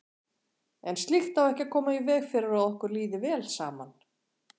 En slíkt á ekki að koma í veg fyrir að okkur líði vel saman.